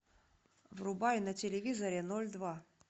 врубай на телевизоре ноль два